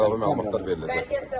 Əlavə məlumatlar veriləcəkdir.